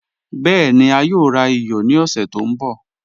Bẹẹ̀ni, a yòò rà iyọ̀ ní ọ̀ṣẹ̀ tó nbọ̀